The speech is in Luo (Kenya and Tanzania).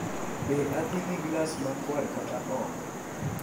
Be adhi gi glas makwar kata ok?